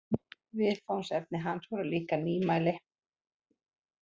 Viðfangsefni hans voru líka nýmæli.